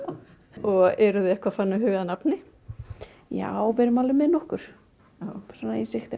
og eruð þið eitthvað farin að huga að nafni já við erum alveg með nokkur í sigtinu